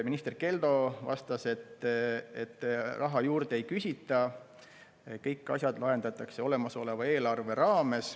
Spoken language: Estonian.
Minister Keldo vastas, et raha juurde ei küsita, kõik asjad lahendatakse olemasoleva eelarve raames.